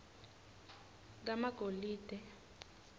kamagolide